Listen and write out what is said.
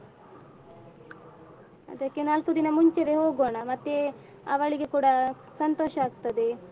ಅದಕ್ಕೆ ನಾಲ್ಕು ದಿನ ಮುಂಚೆವೆ ಹೋಗೋಣ ಮತ್ತೇ ಅವಳಿಗೆ ಕೂಡ ಸಂತೋಷ ಆಗ್ತದೆ.